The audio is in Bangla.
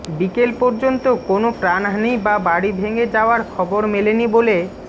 বিকেল পর্যন্ত কোনও প্রাণহানি বা বাড়ি ভেঙে যাওয়ার খবর মেলেনি বলে